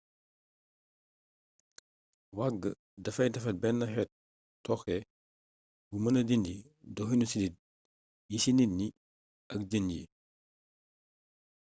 waag dafay defar benn xeet tooke bu mëna dindi doxinu siddit yi ci nit ñi ak jën yi